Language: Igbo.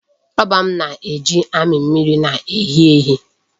Rọba m na-eji amị mmiri na-ehi ehi.